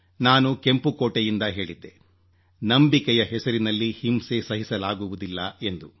ನಾನು ಕೆಂಪು ಕೋಟೆಯಿಂದ ಹೇಳಿದ್ದೆ ನಂಬಿಕೆ ಹೆಸರಿನಲ್ಲಿ ಹಿಂಸೆ ಸಹಿಸಲಾಗುವುದಿಲ್ಲ ಎಂದು